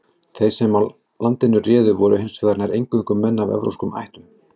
Þeir sem landinu réðu voru hins vegar nær eingöngu menn af evrópskum ættum.